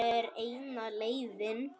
Það er eina leiðin.